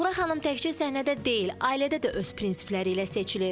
Suğra xanım təkcə səhnədə deyil, ailədə də öz prinsipləri ilə seçilir.